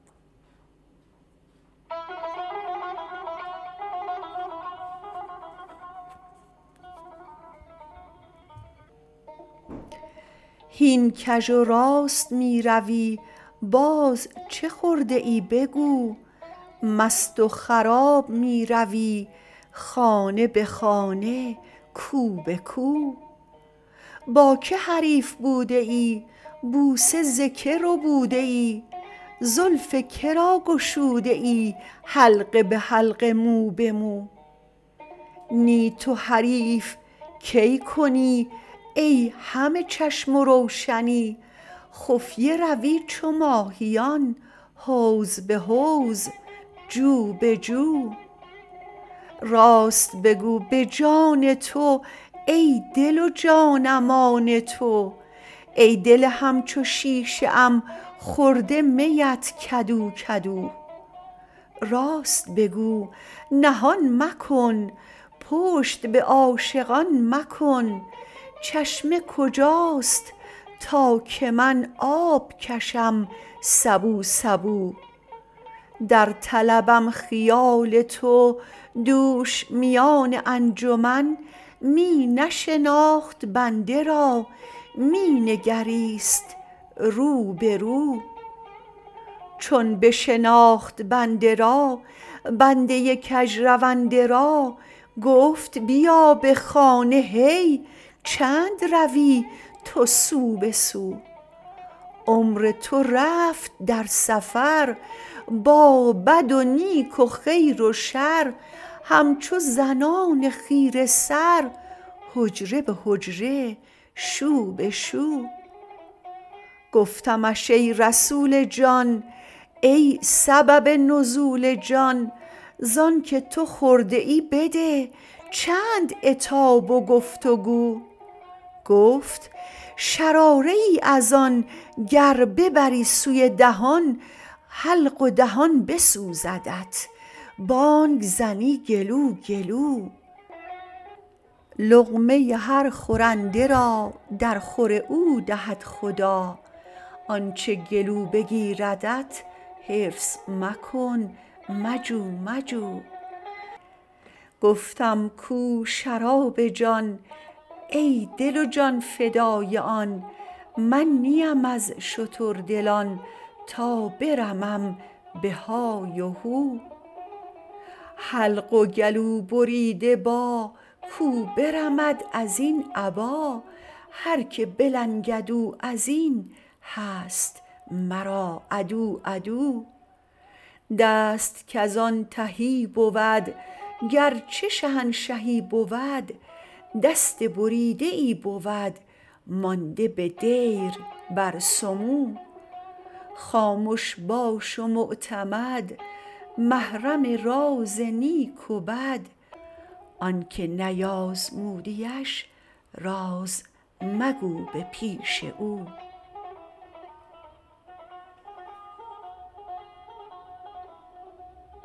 هین کژ و راست می روی باز چه خورده ای بگو مست و خراب می روی خانه به خانه کو به کو با کی حریف بوده ای بوسه ز کی ربوده ای زلف که را گشوده ای حلقه به حلقه مو به مو نی تو حریف کی کنی ای همه چشم و روشنی خفیه روی چو ماهیان حوض به حوض جو به جو راست بگو به جان تو ای دل و جانم آن تو ای دل همچو شیشه ام خورده میت کدو کدو راست بگو نهان مکن پشت به عاشقان مکن چشمه کجاست تا که من آب کشم سبو سبو در طلبم خیال تو دوش میان انجمن می نشناخت بنده را می نگریست رو به رو چون بشناخت بنده را بنده کژرونده را گفت بیا به خانه هی چند روی تو سو به سو عمر تو رفت در سفر با بد و نیک و خیر و شر همچو زنان خیره سر حجره به حجره شو به شو گفتمش ای رسول جان ای سبب نزول جان ز آنک تو خورده ای بده چند عتاب و گفت و گو گفت شراره ای از آن گر ببری سوی دهان حلق و دهان بسوزدت بانگ زنی گلو گلو لقمه هر خورنده را درخور او دهد خدا آنچ گلو بگیردت حرص مکن مجو مجو گفتم کو شراب جان ای دل و جان فدای آن من نه ام از شتردلان تا برمم به های و هو حلق و گلوبریده با کو برمد از این ابا هر کی بلنگد او از این هست مرا عدو عدو دست کز آن تهی بود گرچه شهنشهی بود دست بریده ای بود مانده به دیر بر سمو خامش باش و معتمد محرم راز نیک و بد آنک نیازمودیش راز مگو به پیش او